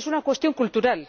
Es una cuestión cultural